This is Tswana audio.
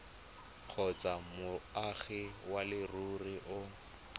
kgotsa moagi wa leruri o